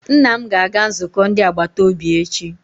Nna m ga-aga nzukọ ndi agbataobi echi.